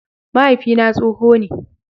Mahaifina tsoho ne.